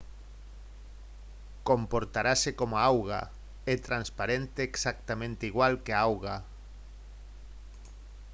«comportarase como a auga. é transparente exactamente igual que a auga